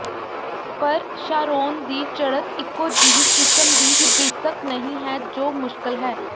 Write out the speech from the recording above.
ਪਰ ਸ਼ਾਰੋਨ ਦੀ ਚੜ੍ਹਤ ਇਕੋ ਜਿਹੀ ਕਿਸਮ ਦੀ ਹਿਬਿਸਕ ਨਹੀਂ ਹੈ ਜੋ ਮੁਸ਼ਕਲ ਹੈ